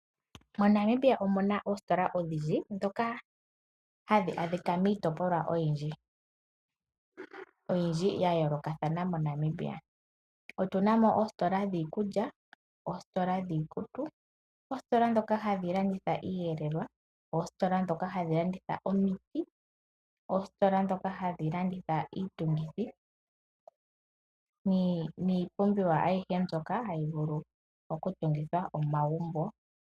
MoNamibia omu na oositola odhindji ndhoka hadhi adhika miitopolwa oyindji ya yoolokathana moNamibia. Otu na mo oositola dhiikulya, oositola dhiikutu, oositola ndhoka hadhi landitha iiyelelwa, oositola ndhoka hadhi landitha omiti, oositola ndhoka hadhi landitha iitungithi niipumbiw aayihe mbyoka hayi vulu okutungithwa omagumbo.